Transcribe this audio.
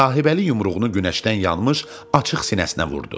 Sahibəli yumruğunu günəşdən yanmış açıq sinəsinə vurdu.